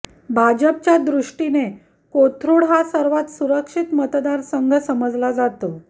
भाजपच्या दृष्टीने कोथरुड हा सर्वात सुरक्षित मतदारसंघ समजला जातो